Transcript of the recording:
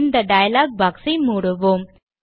இந்த dialogue box ஐ மூடுவோம்